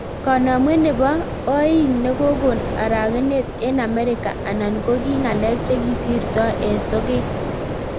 Kanamwet nepoo Oik nekokon arakenet eng Amerika anan ko kii ngalek chekisirtoi eng sogek